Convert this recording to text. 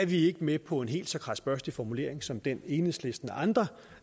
vi ikke med på en helt så kradsbørstig formulering som den enhedslisten og andre